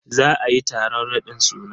Za ayi taron raɗin suna.